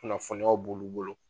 Kunnafoniyaw b'olu bolo